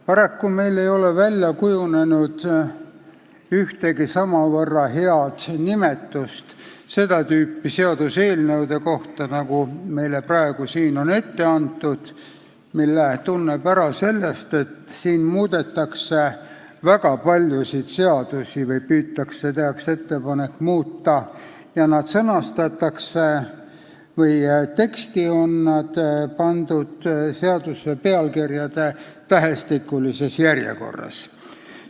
Paraku ei ole meil välja kujunenud ühtegi samavõrra head nimetust seda tüüpi seaduseelnõude kohta, nagu meile praegu siin on ette antud, mille tunneb ära sellest, et siin muudetakse väga paljusid seadusi – või püütakse muuta, tehakse ettepanek muuta – ja eelnõu teksti on nad pandud seaduse pealkirjade tähestikulises järjekorras.